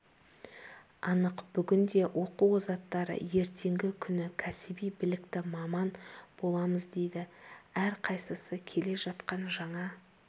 анық бүгінде оқу озаттары ертеңгі күні кәсіби білікті маман боламыз дейді әрқайсысы келе жатқан жаңа